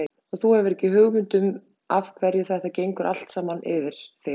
Og þú hefur ekki hugmynd um af hverju þetta gengur allt saman yfir þig.